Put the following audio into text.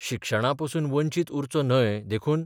शिक्षणापसून वंचीत उरचो न्हय देखून